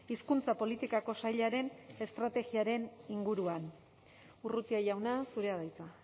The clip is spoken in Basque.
hizkuntza politikako sailaren estrategiaren inguruan urrutia jauna zurea da hitza